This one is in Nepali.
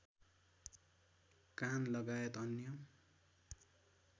कान लगायत अन्य